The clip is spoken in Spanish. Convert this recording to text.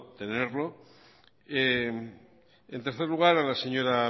tenerlo en tercer lugar a la señora